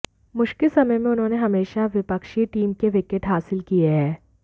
मुश्किल समय में उन्होंने हमेशा विपक्षीय टीम के विकेट हासिल किये है